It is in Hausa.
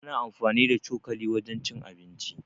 Ana anfani da cokali wajen cin abinci.